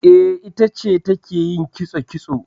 E, ita ce take yin kitso kitso.